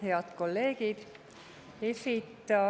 Head kolleegid!